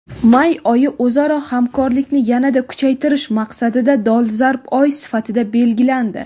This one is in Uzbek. May oyi o‘zaro hamkorlikni yanada kuchaytirish maqsadida dolzarb oy sifatida belgilandi.